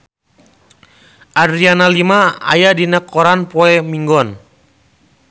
Adriana Lima aya dina koran poe Minggon